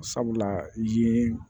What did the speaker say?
Sabula yen